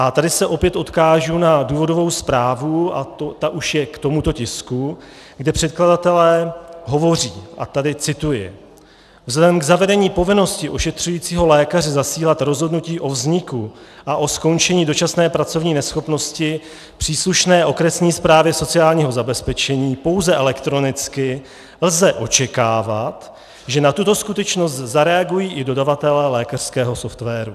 A tady se opět odkážu na důvodovou zprávu, a ta už je k tomuto tisku, kde předkladatelé hovoří, a tady cituji: Vzhledem k zavedení povinnosti ošetřujícího lékaře zasílat rozhodnutí o vzniku a o skončení dočasné pracovní neschopnosti příslušné okresní správě sociálního zabezpečení pouze elektronicky lze očekávat, že na tuto skutečnost zareagují i dodavatelé lékařského softwaru.